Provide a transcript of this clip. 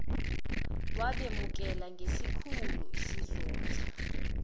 wabemukela ngesikhulu isizotha